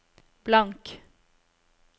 blank